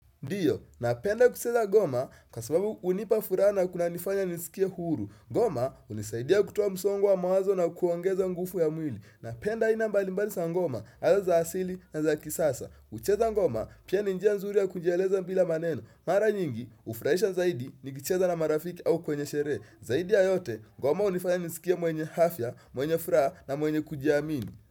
Ndiyo, napenda kucheza goma kwa sababu unipa fura na kunanifanya nisikia huru. Ngoma hunisaidia kutoa msongo wa mawazo na kuongeza nguvu ya mwili. Napenda aina mbalimbalisa za ngoma, aidha za asili na za kisasa. Kucheza ngoma, pia ni njia nzuri ya kujieleza mbila maneno. Mara nyingi, hufraisha zaidi, nikicheza na marafiki au kwenye sherehe. Zaidi ya yote, ngoma hunifanya nijisikia mwenye afya, mwenye furaha na mwenye kujiamini.